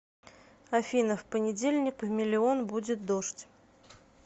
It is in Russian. афина в понедельник в миллион будет дождь